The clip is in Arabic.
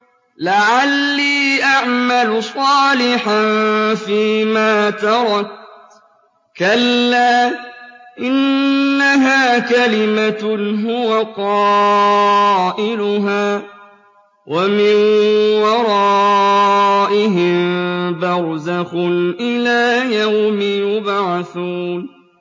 لَعَلِّي أَعْمَلُ صَالِحًا فِيمَا تَرَكْتُ ۚ كَلَّا ۚ إِنَّهَا كَلِمَةٌ هُوَ قَائِلُهَا ۖ وَمِن وَرَائِهِم بَرْزَخٌ إِلَىٰ يَوْمِ يُبْعَثُونَ